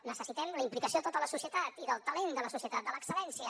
necessitem la implicació de tota la societat i del talent de la societat de l’excel·lència